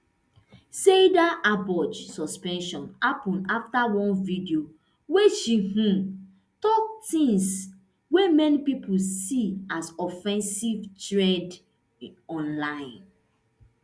saidaboj suspension happun afta one video wia she um tok tins wey many pipo see as offensive trend online